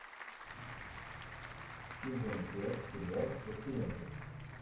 сезон пять сериал пациенты